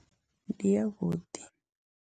Ndi yavhuḓi.